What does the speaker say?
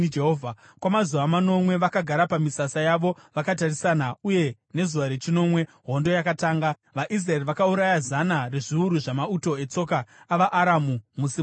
Kwamazuva manomwe vakagara pamisasa yavo vakatarisana, uye nezuva rechinomwe hondo yakatanga. VaIsraeri vakauraya zana rezviuru zvamauto etsoka avaAramu musi mumwe chete.